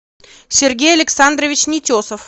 сергей александрович нетесов